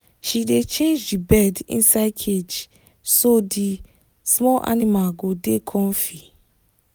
she dey change the bed inside cage so the small animal go dey comfy